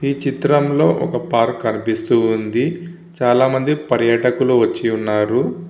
ఈ చిత్రంలో ఒక పార్క్ కనిపిస్తుంది. చాలామంది పర్యటకులు వచ్చి ఉన్నారు.